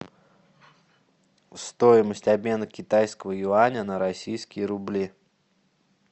стоимость обмена китайского юаня на российские рубли